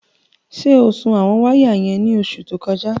Ṣé o sun àwọn wáyà yẹn ní oṣù tó kọjá?